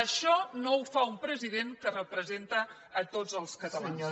això no ho fa un president que representa tots els catalans